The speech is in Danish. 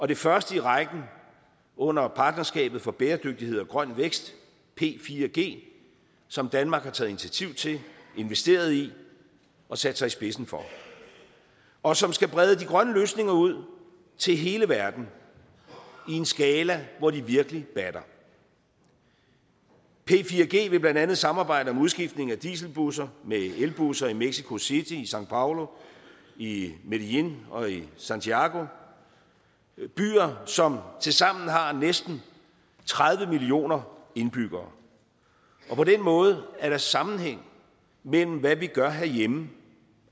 det første i rækken under partnerskabet for bæredygtighed og grøn vækst p4g som danmark har taget initiativ til investeret i og sat sig i spidsen for og som skal brede de grønne løsninger ud til hele verden i en skala hvor de virkelig batter p4g vil blandt andet samarbejde om udskiftning af dieselbusser med elbusser i mexico city i são paulo i medellin og i santiago byer som tilsammen har næsten tredive millioner indbyggere på den måde er der sammenhæng mellem hvad vi gør herhjemme